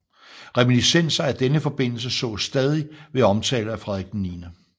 Reminiscenser af denne forbindelse sås stadig ved omtale af Frederik 9